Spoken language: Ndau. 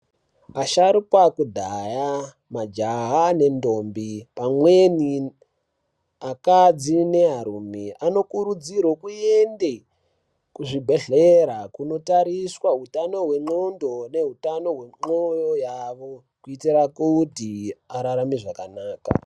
Asharukwa ekudhaya majaha nendombi pamweni akadzi nearume anokurudzirwe kuende kuzvibhehlera kuti andotariswa utano hwendxondo yavo nekutano hwenxoyo yavo kuti vararame zvakanaka.